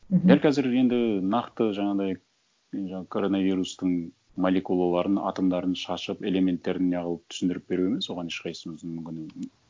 мхм дәл қазір енді нақты жаңағындай коронавирустың молекулаларын атомдарын шашып элементтерін не қылып түсіндіріп беру емес оған ешқайсымыздың